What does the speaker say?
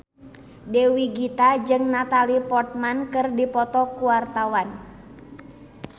Dewi Gita jeung Natalie Portman keur dipoto ku wartawan